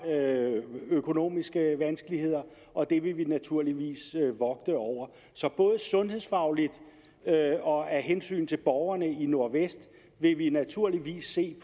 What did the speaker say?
økonomiske vanskeligheder og det vil vi naturligvis vogte over så både sundhedsfagligt og af hensyn til borgerne i nordvest vil vi naturligvis se